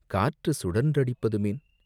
காற்று சுழன்றடிப்பதுமேன்?..